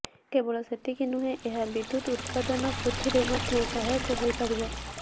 କେବଳ ସେତିକି ନୁହେଁ ଏହା ବିଦ୍ୟୁତ ଉତ୍ପାଦନ ବୃଦ୍ଧିରେ ମଧ୍ୟ ସହାୟକ ହୋଇପାରିବ